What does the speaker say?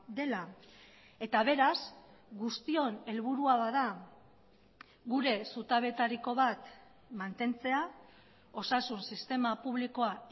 dela eta beraz guztion helburua bada gure zutabetariko bat mantentzea osasun sistema publikoa